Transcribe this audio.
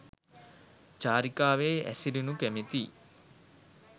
චාරිකාවෙහි හැසිරෙනු කැමැති